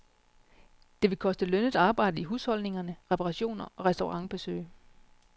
Det vil koste lønnet arbejde i husholdningerne, reparationer og restaurantbesøg.